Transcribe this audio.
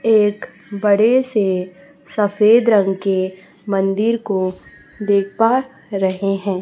एक बड़े से सफेद रंग के मंदिर को देख पा रहे हैं।